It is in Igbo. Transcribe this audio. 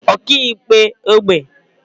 ọkaikpe ógbè